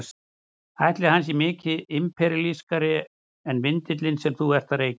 Ætli hann sé mikið imperíalískari en vindillinn sem þú ert að reykja?